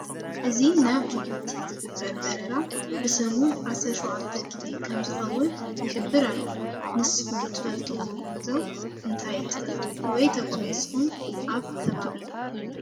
እዚ ናብ ጁብቲ ዝግበር ዝግበር በረራ ብሰሙን 17 ጊዜ ከም ዝከዉን ይሕብር ኣሎ። ንስኩም ትፈልጥዎ ጉዕዞ እንታይ ተፈልጡ ወይ ተጋዒዝኩመ ኣብ ከባቢም?